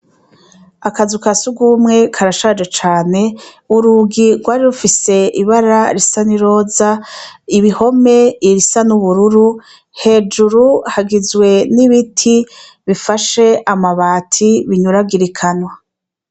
Akazu ka surwumwe karashaje cane, urugi rwari rufise ibara risa n'iroza, ibikombe irisa n'ubururu, hejuru hagizwe n'ibiti bifashe amabati binyuragirikana.